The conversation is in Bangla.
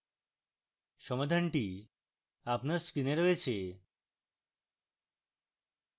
সমাধানটি আপনার screen রয়েছে